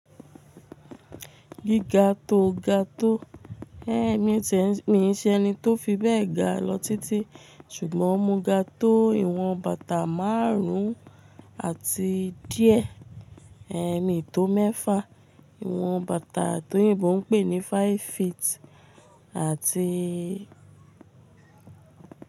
Gíga tó ga tó. Ẹ mì n ṣe ẹni tó fi bẹ́ẹ̀ ga lọ tití, ṣùgbọ́n mo ga tó ìwọ̀n bàtà márùn-ún àti díẹ̀, ẹ mi n tó mẹ́fà ìwọ̀n bàtà toyinbo ń pè ní five feet àti.